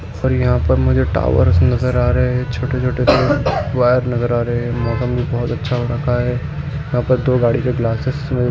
कृपया प्रतीक्षा करें हिंदी भाषा का अनुवाद लोड हो रहा है|